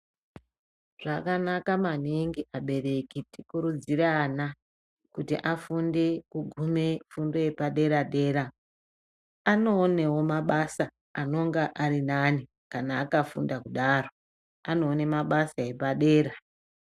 Zvakanaka maningi vabereki tikurudzire vana kuti vafunde kugume fundo yepadera dera anowonewo mabasa anenge ari nane kana akafunda kudaro ,anowone mabasa epadera.